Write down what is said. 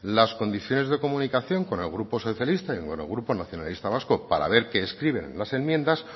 las condiciones de comunicación con el grupo socialista y con el grupo nacionalistas vascos para ver qué escriben en las enmiendas